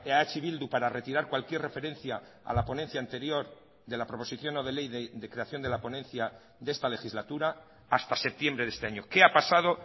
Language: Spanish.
eh bildu para retirar cualquier referencia a la ponencia anterior de la proposición no de ley de creación de la ponencia de esta legislatura hasta septiembre de este año qué ha pasado